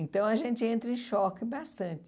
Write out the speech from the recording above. Então a gente entra em choque bastante.